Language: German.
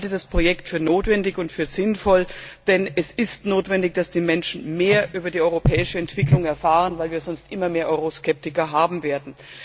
Ich halte das Projekt für notwendig und für sinnvoll, denn die Menschen müssen mehr über die europäische Entwicklung erfahren, weil wir sonst immer mehr Euroskeptiker haben werden.